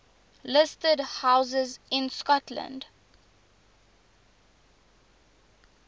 listed houses in scotland